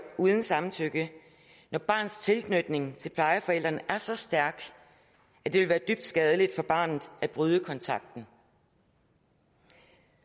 uden samtykke når barnets tilknytning til plejeforældrene er så stærk at det vil være dybt skadeligt for barnet at bryde kontakten